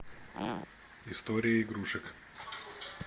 история игрушек